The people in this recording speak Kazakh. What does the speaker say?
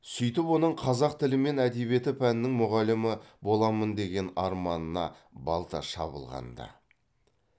сөйтіп оның қазақ тілі мен әдебиеті пәнінің мұғалімі боламын деген арманына балта шабылған ды